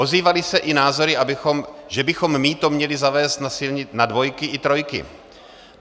Ozývaly se i názory, že bychom mýto měli zavést na dvojky i trojky.